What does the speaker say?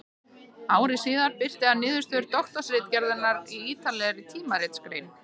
Ári síðar birti hann niðurstöður doktorsritgerðarinnar í ýtarlegri tímaritsgrein.